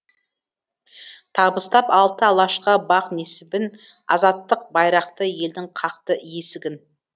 табыстап алты алашқа бақ несібін азаттық байрақты елдің қақты есігін